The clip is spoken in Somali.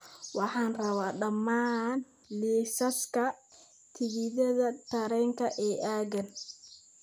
Waxaan rabaa dhammaan liisaska tigidhada tareenka ee aaggan